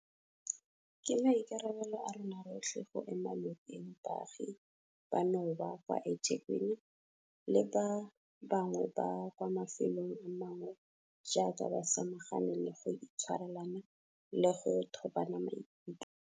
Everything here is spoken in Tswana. Ke maikarabelo a rona rotlhe go ema nokeng baagi banoba kwa eThekwini le ba bangwe ba kwa mafelong a mangwe jaaka ba samagane le go itshwarelana le go thobana maikutlo.